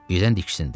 Birdən diksindi.